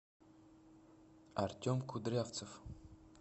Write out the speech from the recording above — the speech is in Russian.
артем кудрявцев